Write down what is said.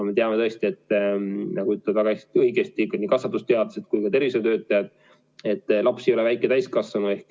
Me teame tõesti, nagu ütlevad väga õigesti nii kasvatusteadlased kui ka tervishoiutöötajad, et laps ei ole väike täiskasvanu.